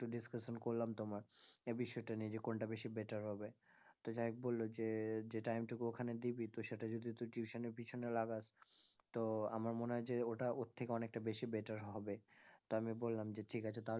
Discussion করলাম তোমার এ বিষয়টা নিয়ে যে কোনটা বেশি better হবে তো যাই হোক বলল যে যে time টুকু ওখানে দিবি তো সেটা যদি তুই tuition এর পিছনে লাগাস তো আমার মনে হয় যে ওটা ওর থেকে অনেকটা বেশি better হবে তা আমি বললাম যে ঠিক আছে তাহলে,